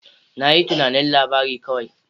Na yi tunanin labari kawai.